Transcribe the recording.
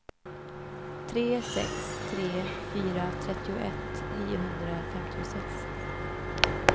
tre sex tre fyra trettioett niohundrafemtiosex